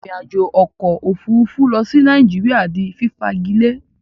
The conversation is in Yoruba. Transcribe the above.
Ìrìn àjò okò òfurufú lo sí Naijiria di fífagilé